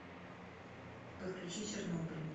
подключи чернобыль